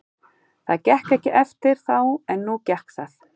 Það gekk ekki eftir þá en nú gekk það.